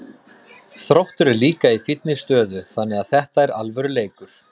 Þróttur er líka í fínni stöðu þannig að þetta er alvöru leikur.